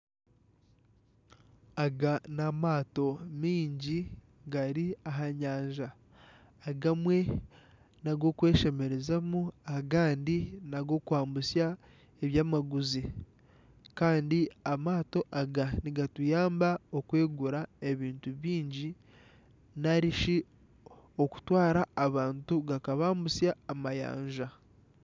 Aga n'amaato mingi gari aha nyanja. Agamwe n'ag'okweshemerezamu, agandi n'ag'okwambusya ebyamaguzi. Kandi amaato aga nigatuyamba okwegura ebintu bingi nari shi okutwara abantu gakabambutsya amayanja.